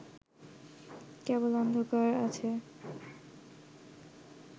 কেবল অন্ধকার আছে